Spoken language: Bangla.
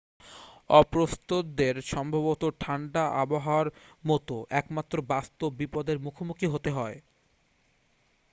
অপ্রস্তুতদের সম্ভবত ঠাণ্ডা আবহাওয়ার মতো একমাত্র বাস্তব বিপদের মুখোমুখি হতে হবে